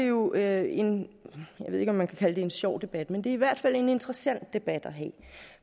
jo er en jeg ved ikke om man kan kalde det en sjov debat men det er i hvert fald en interessant debat at have